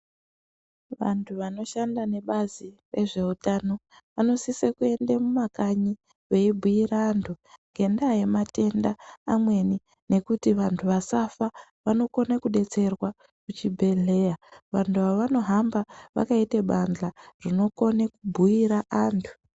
Vantu vanoshanda nebazi rezveutano vanosisee kuende mumakanyi veibhiira antu ngenda yematenda amweni nekuti vanhu vasafa vanokone kudetserwa kuchibhedhlera, vanhu ava avanohamba vakaite badhla rinokome kubhuira antu.